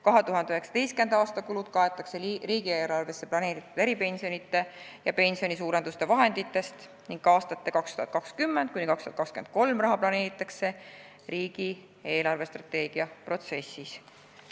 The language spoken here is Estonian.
2019. aasta kulud kaetakse riigieelarves plaanitud eripensionide ja pensionisuurenduste vahenditest ning aastateks 2020–2023 vaja minev raha otsustatakse riigi eelarvestrateegia koostamise protsessis.